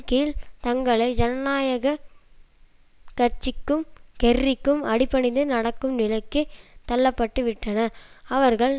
கீழ் தங்களை ஜனநாயக கட்சிக்கும் கெர்ரிக்கும் அடிபணிந்து நடக்கும் நிலைக்கு தள்ளப்பட்டுவிட்டனர் அவர்கள்